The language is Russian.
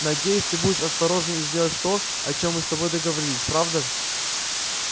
надеюсь ты будешь осторожен и сделаешь то о чём мы с тобой договорились правда